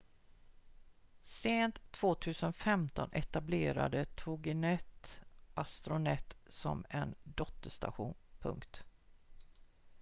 sent 2015 etablerade toginet astronet som en dotterstation